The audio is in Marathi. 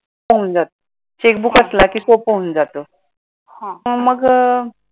checkbook असलं कि सोपं होऊन जातं. मग अं